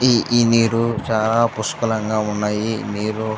ఇ ఈ నీరు చాలా పుష్కలంగా ఉన్నాయి ఈ నీరు.